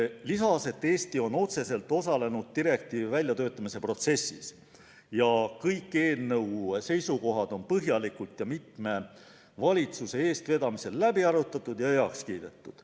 Ta lisas, et Eesti on otseselt osalenud direktiivi väljatöötamise protsessis ning kõik eelnõu seisukohad on põhjalikult ja mitme valitsuse eestvedamisel läbi arutatud ja heaks kiidetud.